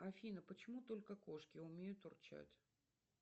афина почему только кошки умеют урчать